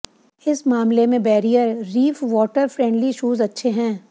इस मामले में barrier reef water friendly shoes अच्छे हैं